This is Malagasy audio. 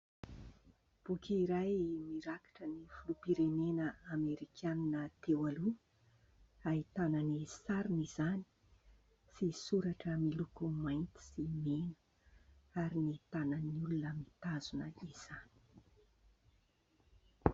Boky iray mirakitra ny filoham-pirenena Amerikanina teo aloha ahitana ny sariny izany sy soratra miloko mainty sy mena ary tanan'olona mitazona izany.